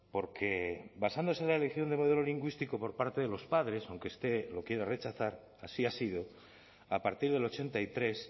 porque basándose en la elección de modelo lingüístico por parte de los padres aunque esté lo quiere rechazar así ha sido a partir del ochenta y tres